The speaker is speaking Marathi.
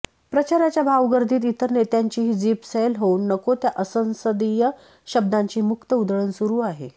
प्रचाराच्या भाऊगर्दीत इतर नेत्यांचीही जीभ सैल होऊन नको त्या असंसदीय शब्दांची मुक्त उधळण सुरू आहे